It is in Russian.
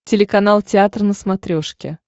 телеканал театр на смотрешке